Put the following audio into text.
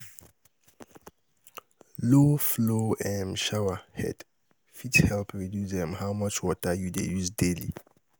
Low flow um shower head fit help reduce um how much water you dey use daily.